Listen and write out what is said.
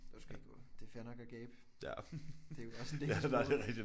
Du skal ikke gå. Det er fair nok at gabe. Det er jo også en del af sproget